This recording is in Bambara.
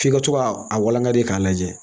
F'i ka to ka a walangali k'a lajɛ